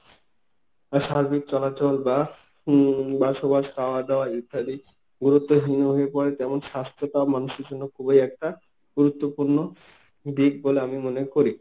বা সার্বিক চলাচল বা উম বসবাস খাওয়া দাওয়া ইত্যাদি গুরুত্বহীন হয়ে পড়ে, তেমন স্বাস্থ্যটাও মানুষের জন্য খুবই একটা গুরুত্বপূর্ণ দিক বলে আমি মনে করি।